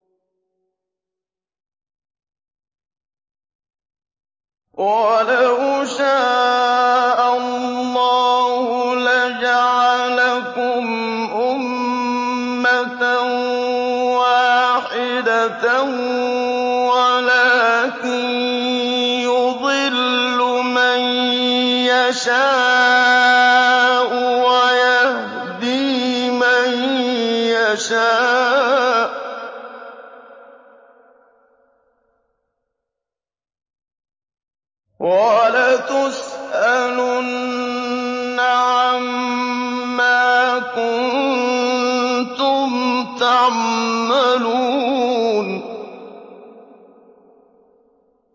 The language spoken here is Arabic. وَلَوْ شَاءَ اللَّهُ لَجَعَلَكُمْ أُمَّةً وَاحِدَةً وَلَٰكِن يُضِلُّ مَن يَشَاءُ وَيَهْدِي مَن يَشَاءُ ۚ وَلَتُسْأَلُنَّ عَمَّا كُنتُمْ تَعْمَلُونَ